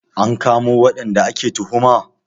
An kamo waɗanda ake tuhuma?